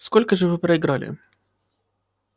сколько же вы проиграли